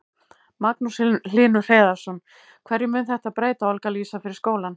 Magnús Hlynur Hreiðarsson: Hverju mun þetta breyta, Olga Lísa, fyrir skólann?